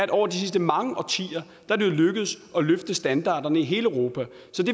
det over de sidste mange årtier er lykkedes at løfte standarderne i hele europa